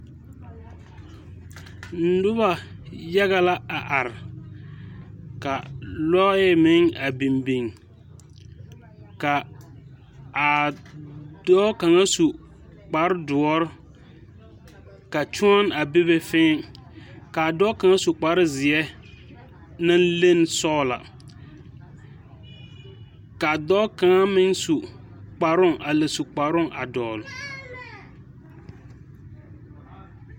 Noba yaga la a are, ka lɔɛ meŋ a bin bin ka a dɔɔ kaŋa su kpaar dɔre ka kyɔŋ a bebe ka a dɔɔ kaŋa su kpaar zeɛ naŋ leni sɔgelɔ, ka a dɔɔ kaŋa su kparooŋ a lɛ su kaŋa a dɔle